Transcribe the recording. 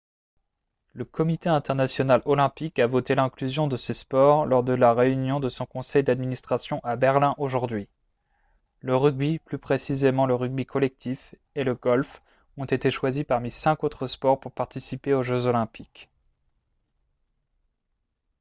le comité international olympique a voté l'inclusion de ces sports lors de la réunion de son conseil d'administration à berlin aujourd'hui le rugby plus précisément le rugby collectif et le golf ont été choisis parmi cinq autres sports pour participer aux jeux olympiques